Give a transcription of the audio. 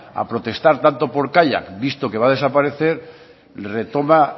a protestar tanto por kaiak visto que va a desaparecer retoma